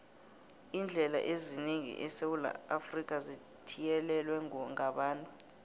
iindlela eziningi esewula afrika zithiyelelwe ngabantu